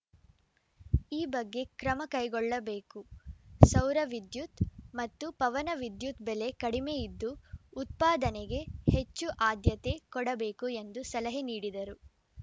ಈ ಬಗ್ಗೆ ಕ್ರಮ ಕೈಗೊಳ್ಳಬೇಕು ಸೌರ ವಿದ್ಯುತ್‌ ಮತ್ತು ಪವನವಿದ್ಯುತ್‌ ಬೆಲೆ ಕಡಿಮೆ ಇದ್ದು ಉತ್ಪಾದನೆಗೆ ಹೆಚ್ಚು ಆದ್ಯತೆ ಕೊಡಬೇಕು ಎಂದು ಸಲಹೆ ನೀಡಿದರು